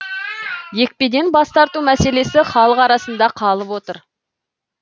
екпеден бас тарту мәселесі халық арасында қалып отыр